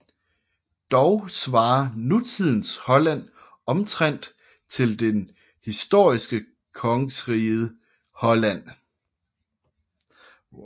Dog svarer nutidens Holland omtrent til det historiske Kongeriget Holland